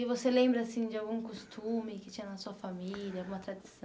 E você lembra assim de algum costume que tinha na sua família, alguma tradição?